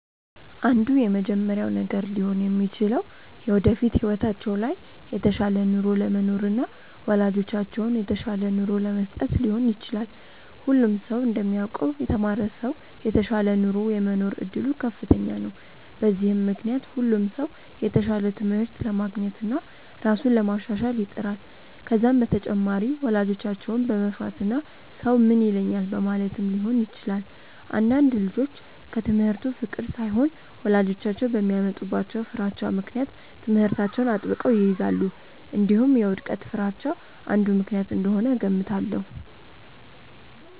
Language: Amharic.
አንዱ የመጀመሪያው ነገር ሊሆን የሚችለው የወደፊት ህይወታቸው ላይ የተሻለ ኑሮ ለመኖርና ወላጆቻቸውን የተሻለ ኑሮ ለመስጠት ሊሆን ይችላል። ሁሉም ሰው እንደሚያውቀው የተማረ ሰው የተሻለ ኑሮ የመኖር እድሉ ከፍተኛ ነው። በዚህም ምክንያት ሁሉም ሰው የተሻለ ትምህርት ለማግኘትና ራሱን ለማሻሻል ይጥራል። ከዛም በተጨማሪ ወላጆቻቸውን በመፍራትና ሰው ምን ይለኛል በማለትም ሊሆን ይችላል። አንዳንድ ልጆች ከትምህርቱ ፍቅር ሳይሆን ወላጆቻቸው በሚያመጡባቸው ፍራቻ ምክንያት ትምህርታቸውን አጥብቀው ይይዛሉ። እንዲሁም የውድቀት ፍርሃቻ አንዱ ምክንያት እንደሆነ እገምታለሁ።